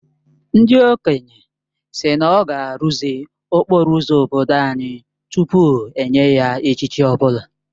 Ndị okenye sị na ọ ga-arụzi okporo ụzọ obodo anyị tupu enye ya echichi ọ bụla